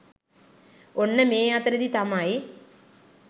ඔන්න මේ අතරෙදි තමයි